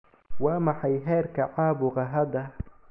Waa maxay heerka caabuqa hadda?